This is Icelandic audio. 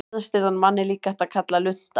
Geðstirðan mann er líka hægt að kalla lunta.